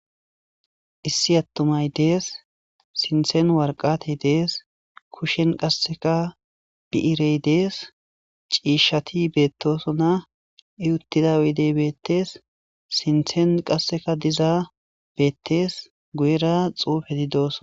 Issi attumay dees sinthen warqatey dees kushen qasseka bi'irey dees ciishshati beettosona i uttida wydey beettees sinthen qasseka diza beettees guyera xuufeti dooson.